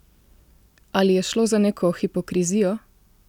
Ali je šlo za neko hipokrizijo?